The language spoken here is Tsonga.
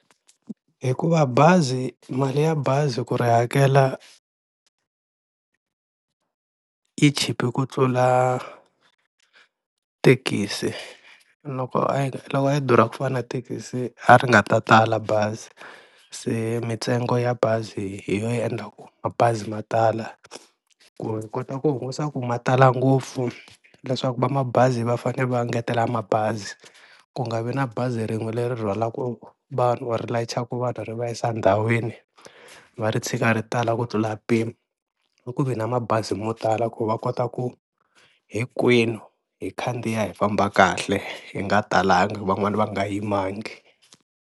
Hikuva bazi mali ya bazi ku ri hakela yi chipe ku tlula thekisi, loko a yi loko a yi durha ku fana na thekisi a ri nga ta tala bazi se mintsengo ya bazi hi yo yi endlaku mabazi ma tala ku ni kota ku hungusa ku ma tala ngopfu leswaku va mabazi va fanele va engetela mabazi ku nga vi na bazi rin'we leri rhwalaku vanhu or ri layicha ka vanhu ri va yisa endhawini va ri tshika ri tala ku tlula mpimo, a ku vi na mabazi mo tala ku va kota ku hinkwenu hi khandziya hi famba kahle hi nga talangi van'wani va nga yimangi.